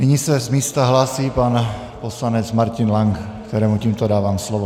Nyní se z místa hlásí pan poslanec Martin Lank, kterému tímto dávám slovo.